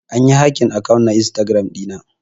An yi hacking akant na Instagram dina.